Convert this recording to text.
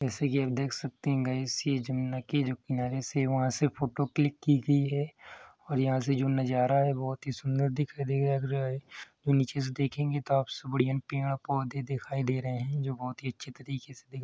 जैसे कि आप देख सकते हैं गायस ये जमुना के जो किनारे से वहां से फोटो क्लिक की गयी है और यहाँ से जो नजारा हैं बोहोत ही सुन्दर दिखाई लग रहा हैं जो नीचे से देखेंगे तोह बढ़िया पेड़-पौधे दिखाई दे रहे हैं जो बोहोत ही अच्छे तरीके से --